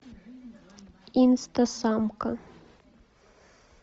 инстасамка